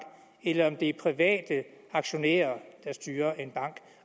eller om det er private aktionærer der styrer en bank